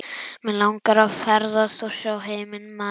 Mig langar að ferðast og sjá heiminn maður.